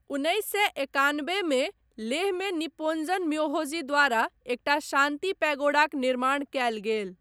उन्नैस सए एकानबेमे लेहमे निप्पोन्ज़न म्योहोजी द्वारा एकटा शान्ति पैगोडाक निर्माण कयल गेल।